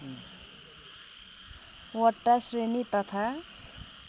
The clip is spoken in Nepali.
वटा श्रेणी तथा